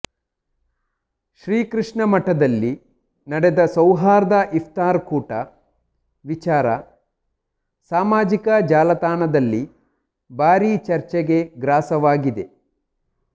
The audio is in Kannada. ಶ್ರೀಕೃಷ್ಣಮಠದಲ್ಲಿ ನಡೆದ ಸೌಹಾರ್ದ ಇಫ್ತಾರ್ ಕೂಟ ವಿಚಾರ ಸಾಮಾಜಿಕ ಜಾಲತಾಣದಲ್ಲಿ ಭಾರೀ ಚರ್ಚೆಗೆ ಗ್ರಾಸವಾಗಿದೆ